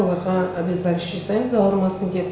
оларға обезболивающий жасаймыз ауырмасын деп